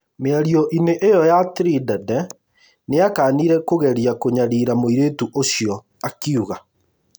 Mĩario inĩ ĩyo ya Trindade, nĩakanire kũgeria kũnyarira mũirĩtu ũcio akiuga